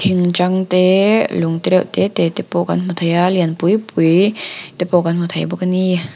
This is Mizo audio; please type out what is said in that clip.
thing tang te lung te reuh te te te pawh kan hmu thei a lian pui pui te pawh kan hmu thei bawk a ni.